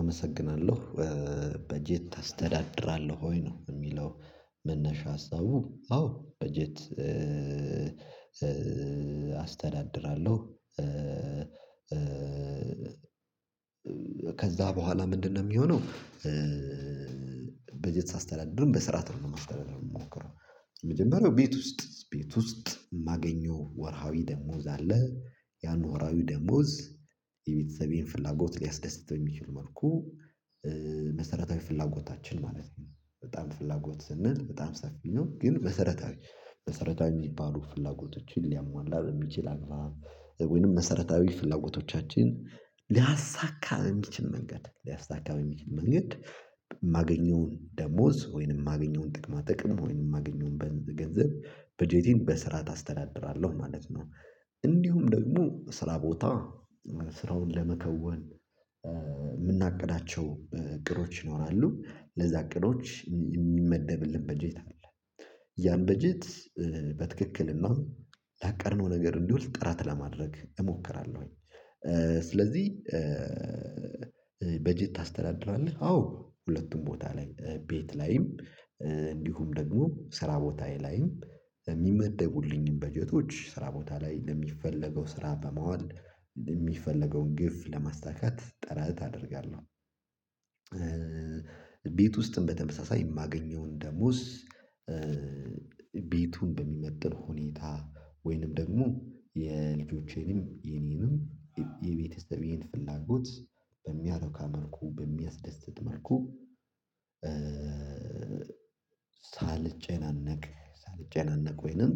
አመሰግናለሁ በጀት ታስተዳድራለህ ወይ ነው የሚለው? መነሻ ሀሳቡ አዎ በጀት አስተዳድራለሁ። ከዛ በኋላ ምንድነው የሚሆነው? በጀት ሳስተዳድርም በስርዓትም ነው የምሞክረው። የመጀመሪያው ቤት ውስጥ ቤት ውስጥ ማገኘው ወርሃዊ ደሞዝ አለ። ያን ወርሃዊ ደሞዝ የቤተሰቤን ፍላጎት ሊያስደስት በሚችል መልኩ። መሰረታዊ ፍላጎታችን ማለት ነው በጣም ፍላጎት ስንል በጣም ሰፊ ነው። ግን መሰረታዊ መሰረታዊ የሚባሉ ፍላጎቶችን ሊያሟላ በሚችል አግባብ ወይንም መሰረታዊ ፍላጎቶቻችን ሊያሳካ በሚችል መንገድ ሊያሳካ በሚችል መንገድ የማገኘውን ደሞዝ ወይንም የማገኘውን ጥቅማ ጥቅም ወይንም የማገኘውን በገንዘብ በጀቴን በስርዓት አስተዳድራለሁ ማለት ነው። እንዲሁም ደግሞ ስራ ቦታ ስራውን ለመከወን የምናቅዳቸው እቅዶች ይኖራሉ ለዛ እቅዶች የሚመደብልን በጀት አለ። ያን በጀት በትክክል እና ላቀድነው ነገር እንዲውል ጥረት ለማድረግ እሞክራለሁኝ። ስለዚህ በጀት ታስተዳድራለህ? አዎ ሁለቱም ቦታ ላይ ቤት ላይም እንዲሁም ደግሞ ስራ ቦታዬ ላይም የሚመደቡልኝን በጀቶች ስራ ቦታ ላይ ለሚፈለገው ስራ በማዋል ለሚፈለገውን ግብ ለማሳካት ጥረት አደርጋለሁ። ቤት ውስጥም በተመሳሳይ የማገኘውን ደሞዝ ቤቱን በሚመጥን ሁኔታ ወይንም ደግሞ የልጆቼንም የኔንም የቤተሰቤን ፍላጎት በሚያረካ መልኩ በሚያስደስት መልኩ ሳልጨናነቅ ሳልጨናነቅ ወይንም